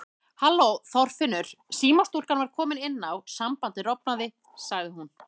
Halló Þorfinnur símastúlkan var komin inn á, sambandið rofnaði sagði hún.